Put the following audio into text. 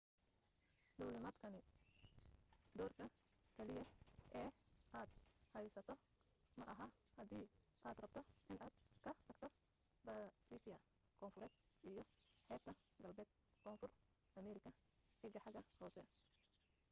duulimaadkani doorka keliya ee aad haysato maaha hadii aad rabto inaad ka tagto baasifia koonfureed iyo xeebta galbeed koonfur ameerika. eeg xagga hoose